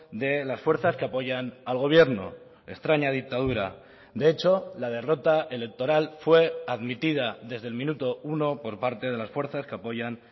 de las fuerzas que apoyan al gobierno extraña dictadura de hecho la derrota electoral fue admitida desde el minuto uno por parte de las fuerzas que apoyan